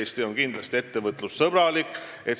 Eesti on kindlasti ettevõtlussõbralik.